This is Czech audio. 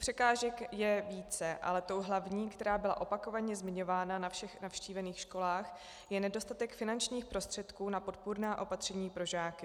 Překážek je více, ale tou hlavní, která byla opakovaně zmiňována na všech navštívených školách, je nedostatek finančních prostředků na podpůrná opatření pro žáky.